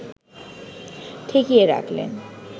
ঠেকিয়ে রাখলেন